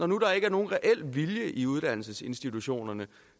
nu ikke er nogen reel vilje i uddannelsesinstitutionerne